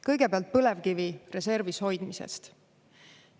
Kõigepealt põlevkivi reservi hoidmisest.